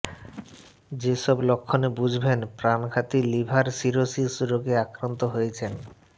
যেসব লক্ষণে বুঝবেন প্রাণঘাতী লিভার সিরোসিস রোগে আক্রান্ত হয়েছেন